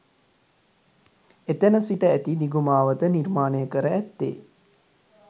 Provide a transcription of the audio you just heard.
එතැන සිට ඇති දිගු මාවත නිර්මාණය කර ඇත්තේ